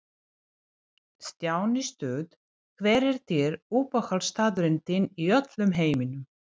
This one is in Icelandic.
Stjáni Stuð Hver er uppáhaldsstaðurinn þinn í öllum heiminum?